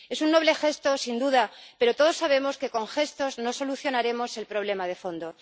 Es un noble gesto, sin duda, pero todos sabemos que con gestos no solucionaremos el problema de fondo.